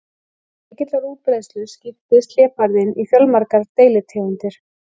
Vegna mikillar útbreiðslu skiptist hlébarðinn í fjölmargar deilitegundir.